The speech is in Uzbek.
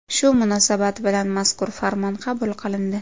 Shu munosabat bilan mazkur farmon qabul qilindi.